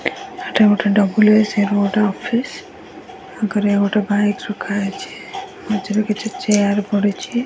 ଏଟା ଗୋଟେ double S road office ଆଗରେ ଗୋଟେ ବାଇକ ରଖାହେଇଚି। ମଝିରେ କିଛି ଚେୟାର ପଡିଚି।